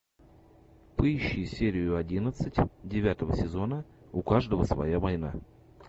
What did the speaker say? поищи серию одиннадцать девятого сезона у каждого своя война